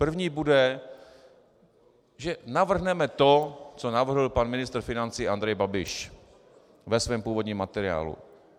První bude, že navrhneme to, co navrhl pan ministr financí Andrej Babiš ve svém původním materiálu.